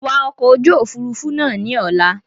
Wa ọkọ̀ ojú Òfurufú náà ni Ọ̀la!